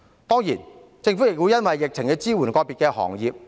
當然，各地政府亦會因應疫情而支援個別行業。